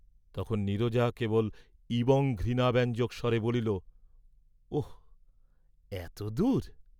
তখন নীরজা কেবল ঈবং ঘৃণাব্যঞ্জক স্বরে বলিল, "ওঃ, এত দূর?"